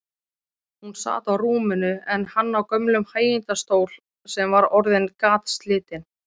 Hún sat á rúminu en hann í gömlum hægindastól sem var orðinn gatslitinn.